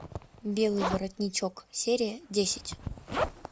белый воротничок серия десять